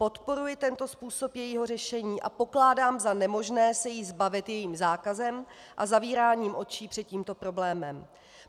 Podporuji tento způsob jejího řešení a pokládám za nemožné se jí zbavit jejím zákazem a zavíráním očí před tímto problémem.